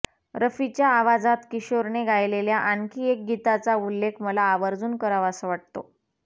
रफीच्या आवाजात किशोरने गायलेल्या आणखी एक गीताचा उल्लेख मला आवर्जून करावासा वाटतो